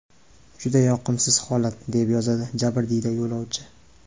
Juda yoqimsiz holat”, deb yozadi jabrdiyda yo‘lovchi.